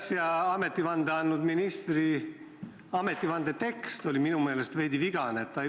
Äsja ametivande andnud ministri ametivande tekst oli minu meelest veidi vigane.